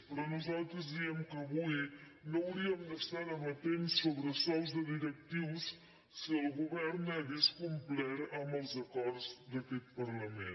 però nosaltres diem que avui no hauríem d’estar debatent sobresous de directius si el govern hagués complert amb els acords d’aquest par·lament